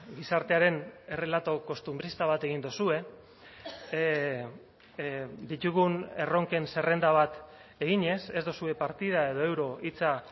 gizartearen errelato kostunbrista bat egin duzue ditugun erronken zerrenda bat eginez ez duzue partida edo euro hitza